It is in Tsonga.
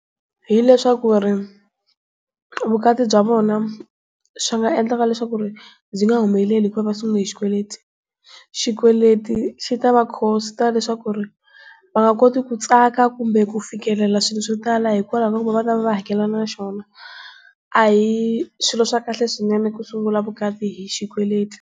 Hileswaku ri vukati bya vona swi nga endlaka leswaku byi nga humeleli hikuva va sungule hi xikweleti, xikweleti xi ta va cost-a leswaku va nga koti ku tsaka kumbe ku fikelela swilo swo tala hikwalaho ka ku va va ta va va hakela na xona, a hi swilo swa kahle swinene ku sungula vukati hi xikweleti.